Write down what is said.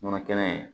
Nɔnɔ kɛnɛ